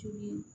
Tulu